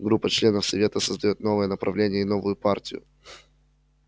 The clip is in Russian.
группа членов совета создаёт новое направление и новую партию